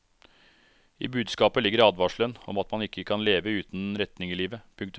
I budskapet ligger advarselen om at man ikke kan leve uten retning i livet. punktum